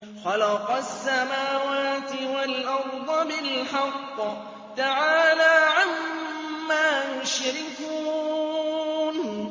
خَلَقَ السَّمَاوَاتِ وَالْأَرْضَ بِالْحَقِّ ۚ تَعَالَىٰ عَمَّا يُشْرِكُونَ